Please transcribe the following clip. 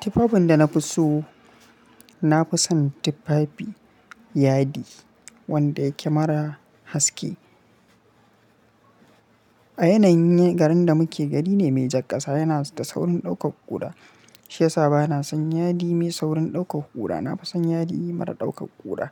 Tifafin da na fi so, na fi son tufafi yadi wanda yake mara haske. A yanayin garin da muke gari ne mai jar ƙasa yana da saurin ɗaukar ƙura. Shi yasa ba na son yadi mai saurin ɗaukar ƙura. Na fi son yadi mara ɗaukar ƙura.